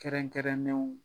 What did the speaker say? Kɛrɛnkɛrɛnnenw